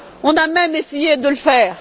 On a même essayé de le faire.